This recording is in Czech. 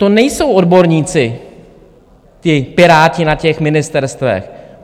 To nejsou odborníci, ti piráti na těch ministerstvech.